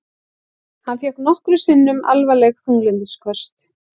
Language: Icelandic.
Hann fékk nokkrum sinnum alvarleg þunglyndisköst.